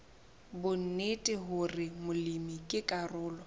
bonnete hore molemi ke karolo